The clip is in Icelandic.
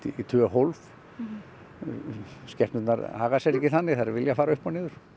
í tvö hólf skepnurnar haga sér ekki þannig þær vilja fara upp og niður